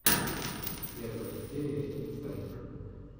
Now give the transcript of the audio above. первая серия инсайд